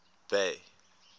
bay